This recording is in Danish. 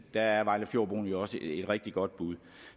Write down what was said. der er vejlefjordbroen jo også et rigtig godt bud